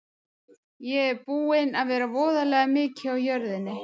Ég er búinn að vera voðalega mikið á jörðinni.